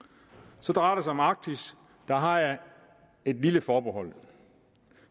så drejer det sig om arktis der har jeg et lille forbehold